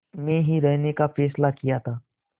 में ही रहने का फ़ैसला किया था